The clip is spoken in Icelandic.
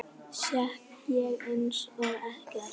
Sekk ég einsog ekkert.